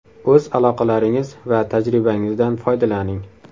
O‘z aloqalaringiz va tajribangizdan foydalaning.